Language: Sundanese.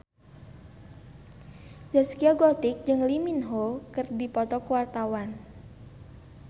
Zaskia Gotik jeung Lee Min Ho keur dipoto ku wartawan